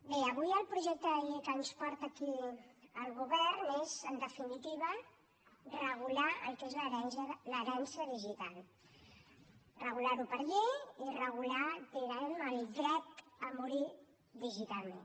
bé avui el projecte de llei que ens porta aquí el govern és en definitiva regular el que és l’herència digital regular ho per llei i regular diguem ne el dret a morir digitalment